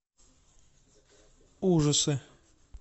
ужасы